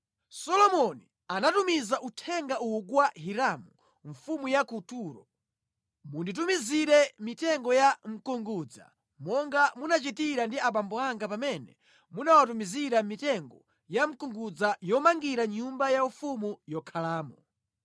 Solomoni anatumiza uthenga uwu kwa Hiramu mfumu ya ku Turo: “Munditumizire mitengo ya mkungudza monga munachitira ndi abambo anga pamene munawatumizira mitengo ya mkungudza yomangira nyumba yaufumu yokhalamo.